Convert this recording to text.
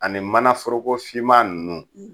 Ani mana forokofinma ninnu